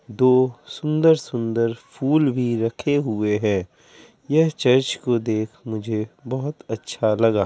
दो सुन्दर- सुन्दर फूल भी रखे हुए है यह चर्च को देख मुझे बहुत अच्छा लगा।